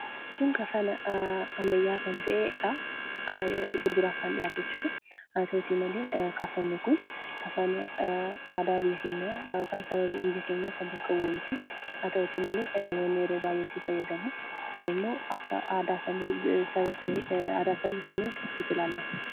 Kun kafana ammayyaa'aa kan ta'eedha. Gurgurtaaf kan dhiyaate jechuudha. Haa ta'uutii malee, kafanni kun kafana aadaa biyya keenyaa yookaan saba biyya keenyaa kan bakka bu'u miti. Haa ta'uutii malee, namoonni yeroo baay'ee itti fayyadamu. Kun immoo akka aadaa saba sanii cabsuutti ilaalama.